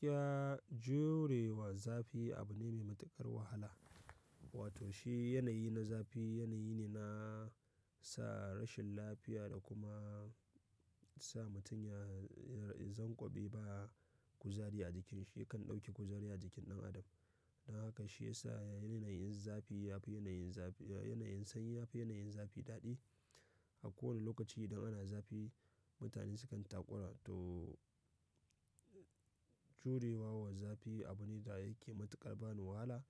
Kiya jure wa zafi abu ne mai matuƙar wahala. Wato shi yanayi na zafi yanayi ne na sa rashin lafiya da kuma sa mutum ya zanƙobe ba kuzari a jikin shi kan dauki kuzari a jikin ɗan adam. Dan haka shiyasa yanayin zafi yafi yanayin sanyi yafi yanayin zafi dadi. A kowane lokaci idan ana zafi mutane su kan takura to jure wa zafi abu ne da yake matuƙar ban wahala